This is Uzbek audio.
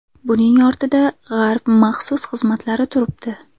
Buning ortida G‘arb maxsus xizmatlari turibdi.